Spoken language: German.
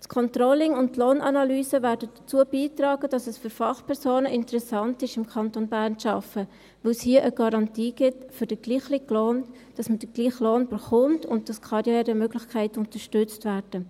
Das Controlling und die Lohnanalyse werden dazu beitragen, dass es für Fachpersonen interessant wird, im Kanton Bern zu arbeiten, weil es hier eine Garantie gibt für gleichen Lohn, dass man den gleichen Lohn erhält und Karrieremöglichkeiten unterstützt werden.